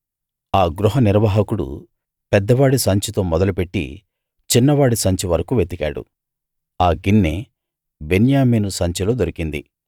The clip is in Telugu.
ఆ గృహ నిర్వాహకుడు పెద్దవాడి సంచితో మొదలు పెట్టి చిన్నవాడి సంచి వరకూ వెతికాడు ఆ గిన్నె బెన్యామీను సంచిలో దొరికింది